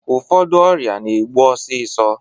Ụfọdụ ọrịa na-egbu osisọ